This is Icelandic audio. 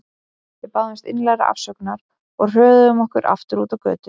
Við báðumst innilegrar afsökunar og hröðuðum okkur aftur út á götu.